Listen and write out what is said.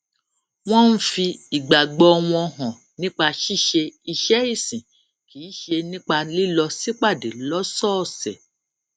wón ń fi ìgbàgbó wọn hàn nípa ṣíṣe iṣé ìsìn kì í ṣe nípa lílọ sípàdé lósòòsè